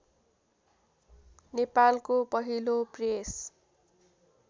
नेपालको पहिलो प्रेस